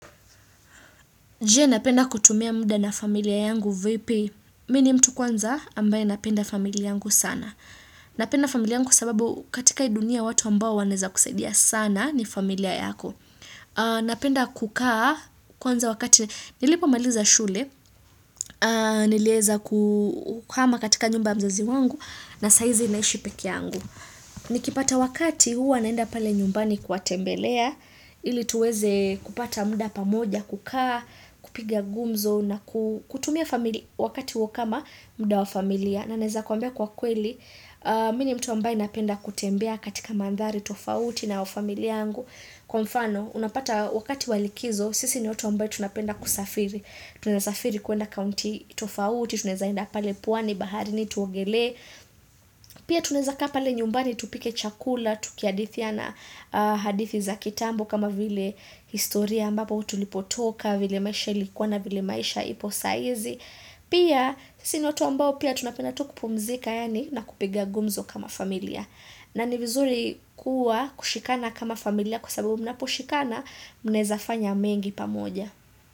Je napenda kutumia muda na familia yangu vipi. Mi ni mtu kwanza ambaye napenda familia yangu sana. Napenda familia yangu sababu katika hii dunia watu ambao wanaeza kusaidia sana ni familia yako. Napenda kukaa kwanza wakati nilipo maliza shule. Nilieza kuhama katika nyumba mzazi wangu na saizi naishi pekee yangu. Nikipata wakati huwa naenda pale nyumbani kuwatembelea. Ili tuweze kupata muda pamoja, kukaa, kupiga gumzo na kutumia wakati huo kama muda wa familia na naeza kuambia kwa kweli, mi ni mtu ambaye napenda kutembea katika mandhari tofauti na wa familia yangu kwa mfano, unapata wakati wa likizo, sisi ni watu ambao tunapenda kusafiri tunasafiri kuenda kaunti tofauti, tunaeza enda pale pwani baharini tuogelee Pia tuneza kaa pale nyumbani tupike chakula Tukihadithiana hadithi za kitambo kama vile historia ambapo tulipotoka vile maisha ilikuwa na vile maisha ipo saizi Pia si ni watu ambao pia tunapenda tu kupumzika Yani na kupiga gumzo kama familia na ni vizuri kuwa kushikana kama familia Kwa sababu mnapo shikana mnezafanya mengi pamoja.